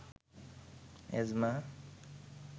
asthma